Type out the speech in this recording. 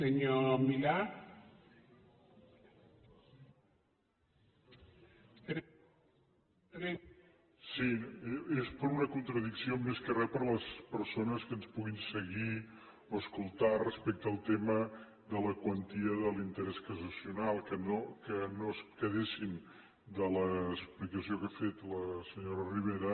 sí és per una contradicció més que res per les persones que ens puguin seguir o escoltar respecte al tema de la quantia de l’interès cassacional que no es quedessin de l’explicació que ha fet la senyora ribera